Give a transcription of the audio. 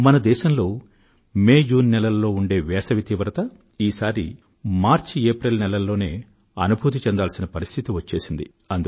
మన దేశంలో May June నెలల్లో ఉండే వేసవి తీవ్రత ఈసారి మార్చ్ ఏప్రిల్ నెలల్లోనే అనుభూతి చెందాల్సిన పరిస్థితి వచ్చేసింది